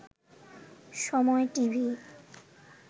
সময় টিভি